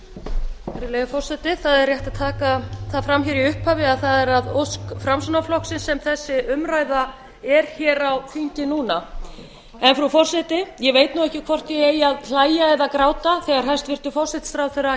það er að ósk framsóknarflokksins sem þessi umræða er hér á þingi núna frú forseti ég veit nú ekki hvort ég eigi að hlæja eða gráta þegar hæstvirtur forsætisráðherra